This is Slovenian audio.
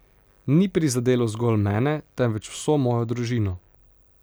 Ni prizadelo zgolj mene, temveč vso mojo družino.